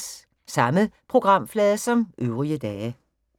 Samme programflade som øvrige dage